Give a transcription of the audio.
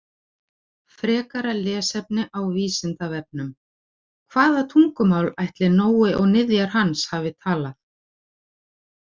Frekara lesefni á Vísindavefnum: Hvaða tungumál ætli Nói og niðjar hans hafi talað?